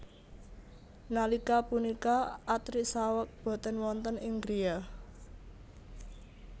Nalika punika Atri saweg boten wonten ing griya